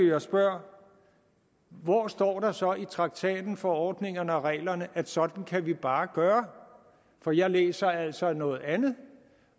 jeg spørger hvor står der så i traktaten forordningerne og reglerne at sådan kan vi bare gøre for jeg læser altså noget andet